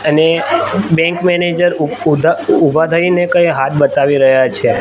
અને bank manager ઉ ઉધા ઉભા થઈને કઈ હાથ બતાવી રહ્યા છે.